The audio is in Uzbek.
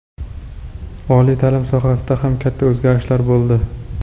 Oliy ta’lim sohasida ham katta o‘zgarishlar bo‘ldi.